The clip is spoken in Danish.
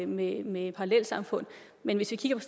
med med parallelsamfund men hvis vi kigger